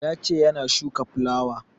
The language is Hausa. Ya ce yana shuka fulawa